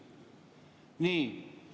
Nii.